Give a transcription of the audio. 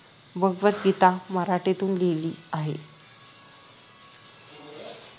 भगवद गीता मराठीतून लिहिली आहे